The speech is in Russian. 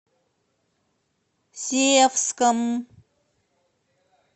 севском